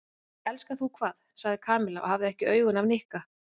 Elskar þú hvað? sagði Kamilla og hafði ekki augun af Nikka.